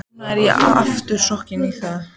Og nú er ég aftur sokkinn í það.